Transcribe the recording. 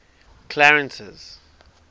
clarence's